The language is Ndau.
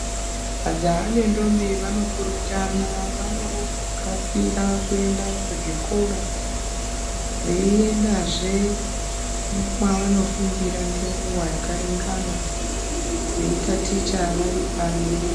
Majaha nendombi vanopurutana vanokasira kuenda kuzvikora veiendazve mwavanofundira nenguwa yakaringana veitaticha vari pamwe.